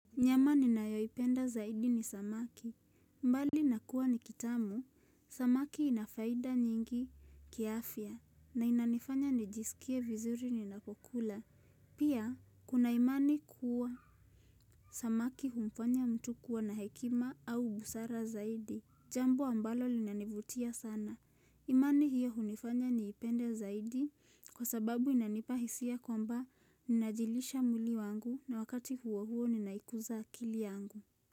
Nyama ninayoipenda zaidi ni samaki. Mbali na kuwa ni kitamu, samaki inafaida nyingi kiafya na inanifanya nijisikie vizuri ninapokula. Pia, kuna imani kuwa samaki humfanya mtu kuwa na hekima au busara zaidi. Jambu ambalo linanivutia sana. Imani hiyo hunifanya niipende zaidi kwa sababu inanipa hisia kwamba ninajilisha mwili, wangu na wakati huo huo ninaikuza akili yangu.